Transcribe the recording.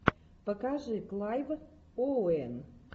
покажи клайв оуэн